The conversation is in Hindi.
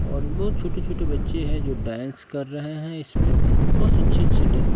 और बहोत छोटे छोटे बच्चे है जो डांस कर रहे है इसमें व अच्छे अच्छे डा--